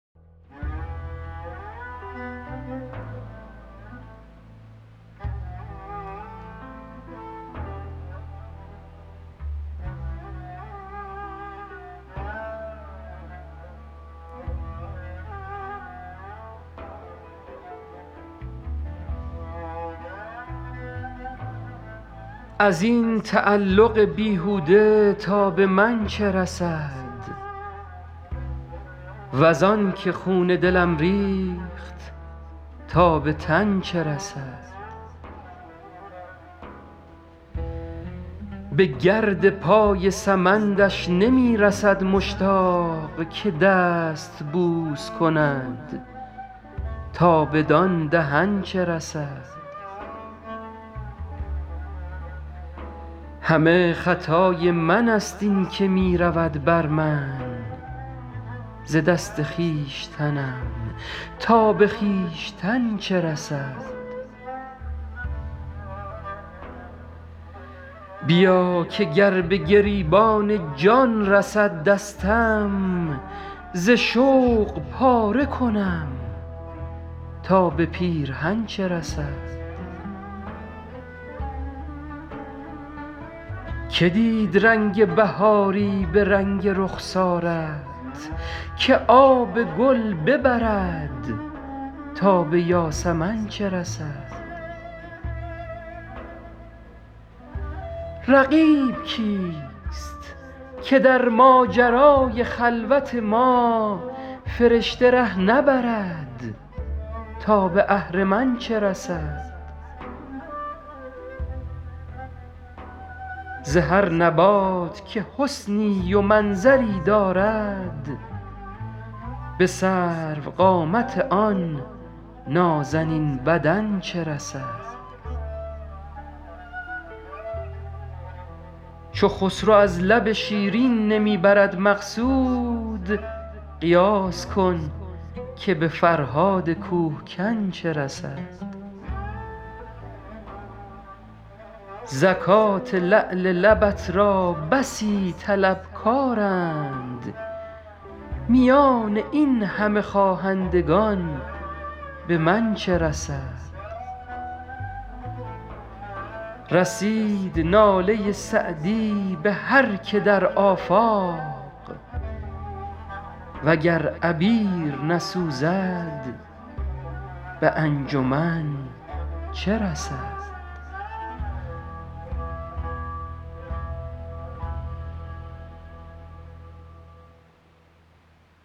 از این تعلق بیهوده تا به من چه رسد وز آن که خون دلم ریخت تا به تن چه رسد به گرد پای سمندش نمی رسد مشتاق که دست بوس کند تا بدان دهن چه رسد همه خطای من ست این که می رود بر من ز دست خویشتنم تا به خویشتن چه رسد بیا که گر به گریبان جان رسد دستم ز شوق پاره کنم تا به پیرهن چه رسد که دید رنگ بهاری به رنگ رخسارت که آب گل ببرد تا به یاسمن چه رسد رقیب کیست که در ماجرای خلوت ما فرشته ره نبرد تا به اهرمن چه رسد ز هر نبات که حسنی و منظری دارد به سروقامت آن نازنین بدن چه رسد چو خسرو از لب شیرین نمی برد مقصود قیاس کن که به فرهاد کوه کن چه رسد زکات لعل لبت را بسی طلبکارند میان این همه خواهندگان به من چه رسد رسید ناله سعدی به هر که در آفاق و گر عبیر نسوزد به انجمن چه رسد